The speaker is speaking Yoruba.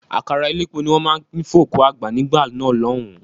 Àkàrà elépo ní wọ́n máa ń pín fún òkú àgbà nígbà náà lọ́hùn-ún.